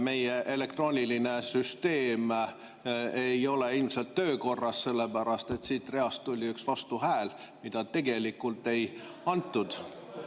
Meie elektrooniline süsteem ei ole ilmselt töökorras, sellepärast et siit reast tuli üks vastuhääl, mida tegelikult ei antud.